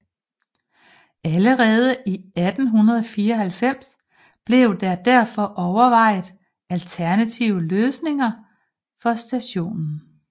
Allerede i 1894 blev der derfor overvejet alternative løsninger for stationen